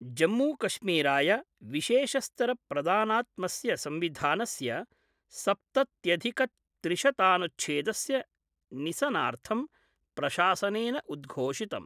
जम्मू कश्मीराय विशेषस्तर प्रदानात्मस्य संविधानस्य सप्तत्यधिक त्रिशतानुच्छेदस्य निसनार्थं प्रशासनेन उद्घोषितम्।